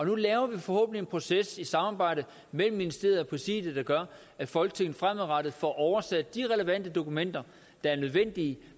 nu laver vi forhåbentlig en proces i samarbejde mellem ministeriet og præsidiet der gør at folketinget fremadrettet får oversat de relevante dokumenter der er nødvendige